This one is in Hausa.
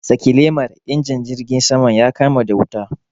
Saki lemar! injin jirgin saman ya kama da wuta.